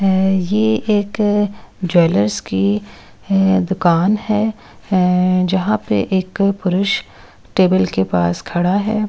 यह एक ज्वेलर्स की दुकान है जहां पे एक पुरुष टेबल के पास खड़ा है।